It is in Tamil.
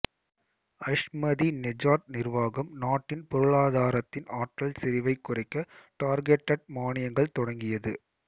அஹ்மதிநெஜாட் நிர்வாகம் நாட்டின் பொருளாதாரத்தின் ஆற்றல் செறிவை குறைக்க டார்கெடெட் மானியங்கள் தொடங்கியது